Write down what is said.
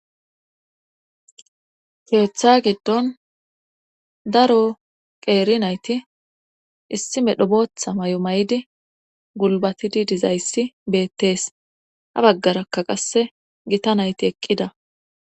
Keeththa giddon daro qeeri nayti issime dhobotha may'o may'di gulbatidi dizayssi beettees ha baggarakka qasse gita nayti eqqida.